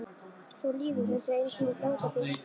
Þú lýgur þessu eins og þú ert langur til, hvæsti